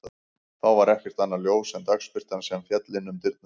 Þá var ekkert annað ljós en dagsbirtan sem féll inn um dyrnar.